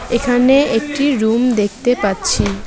এখানে একটি রুম দেখতে পাচ্ছি।